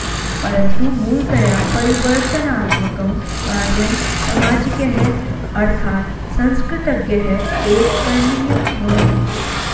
परन्तु मूलतया परिवर्तनात्मकं कार्यं सामाजिकैः अर्थात् संस्कृतज्ञैः एव करणीयं भवति